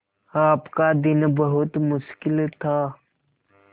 आपका दिन बहुत मुश्किल था